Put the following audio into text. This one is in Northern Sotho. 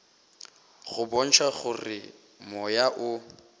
go bontšha gore moya o